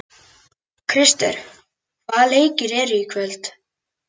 Krister, hvaða leikir eru í kvöld?